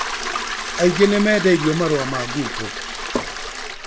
Aingĩ nĩmendeirio marũa ma ngungo